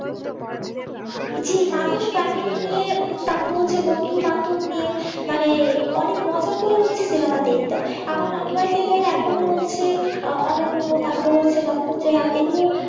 জি মানুষ family নিয়ে তারপর হচ্ছে বন্ধুবান্ধব নিয়ে মানে অনেক মজা করে হচ্ছে cinema দেখত আমার নানু বাড়িতে গেলে এখনো হচ্ছে অমেও তারপর হচ্ছে নক্ষত্রের রাত